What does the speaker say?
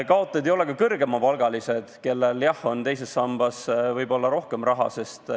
Kaotajad ei ole ka kõrgemapalgalised, kellel tõesti on teises sambas rohkem raha.